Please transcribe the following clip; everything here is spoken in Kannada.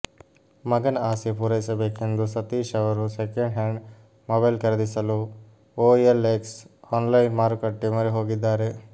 ಮಗನ ಆಸೆ ಪೂರೈಸಬೇಕೆಂದು ಸತೀಶ್ ಅವರು ಸೆಕೆಂಡ್ ಹ್ಯಾಂಡ್ ಮೊಬೈಲ್ ಖರೀದಿಸಲು ಒಎಲ್ಎಕ್ಸ್ ಆನ್ಲೈನ್ ಮಾರುಕಟ್ಟೆ ಮೊರೆ ಹೋಗಿದ್ದಾರೆ